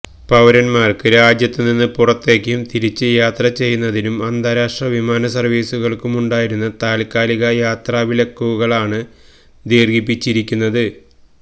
പൌരൻമാർക്ക് രാജ്യത്തുനിന്ന് പുറത്തേക്കും തിരിച്ചും യാത്ര ചെയ്യുന്നതിനും അന്താരാഷ്ട്ര വിമാന സർവീസുകൾക്കുമുണ്ടായിരുന്ന താല്ക്കാലിക യാത്രാവിലക്കുകളാണ് ദീർഘിപ്പിച്ചിരിക്കുന്നത്